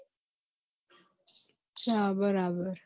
હા બરાબર